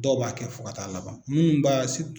Dɔw b'a kɛ fo ka taa laban minnu b'a